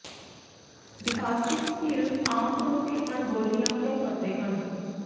ਡਿਪਾਜ਼ਟਿਵ skills ਆਮ ਤੌਰ ਤੇ ਅਣਗੌਲੀਆਂ ਕਿਉਂ ਕਰਦੇ ਹਨ